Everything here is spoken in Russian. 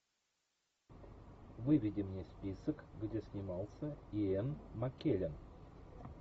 выведи мне список где снимался иэн маккеллен